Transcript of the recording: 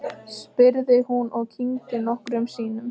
spurði hún og kyngdi nokkrum sinnum.